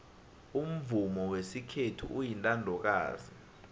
umvumo wesikhethu uyintandokazi